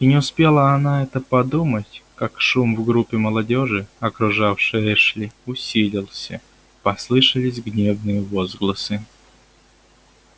и не успела она это подумать как шум в группе молодёжи окружавшей эшли усилился послышались гневные возгласы